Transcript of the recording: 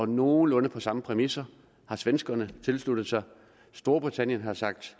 nogenlunde samme præmisser har svenskerne tilsluttet sig og storbritannien har sagt